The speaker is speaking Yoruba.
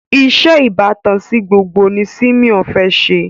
iṣé ìbátan sí gbogbo ní Simon fè ṣe